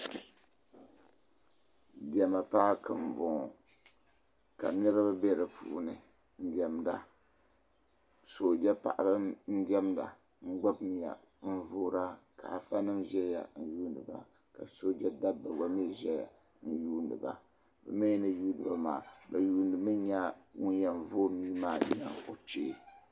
Diɛma paki m bɔŋɔ ka niriba bɛ di puuni n diɛmda sojɛ paɣaba n diɛmda n gbubi mia n voira ka afanima ʒeya n yuuni ba ka sojɛ dabba gba mi ʒeya n yuuni ba bɛ mi ni yuuni ba maa bɛ yuuni mi nya ŋun yɛn voi mia maa nyaŋ o kpee.